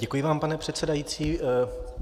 Děkuji vám, pane předsedající.